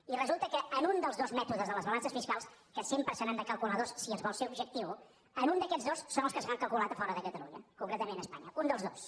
i resulta que un dels dos mètodes de les balances fiscals que sempre se n’han de calcular dos si es vol ser objectiu un d’aquests dos és el que s’ha calculat a fora de catalunya concretament a espanya un dels dos